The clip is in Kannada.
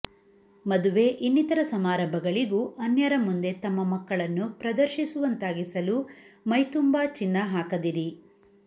ಮದುವೆ ಇನ್ನಿತರ ಸಮಾರಂಭಗಳಿಗೂ ಅನ್ಯರ ಮುಂದೆ ತಮ್ಮ ಮಕ್ಕಳನ್ನು ಪ್ರದರ್ಶಿಸುವಂತಾಗಿಸಲು ಮೈ ತುಂಬಾ ಚಿನ್ನ ಹಾಕದಿರಿ